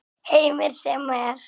Heimir: Sem er?